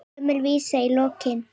Gömul vísa í lokin.